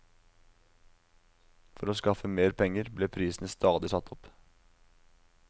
For å skaffe mer penger, ble prisene stadig satt opp.